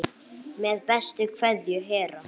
Með bestu kveðju Hera.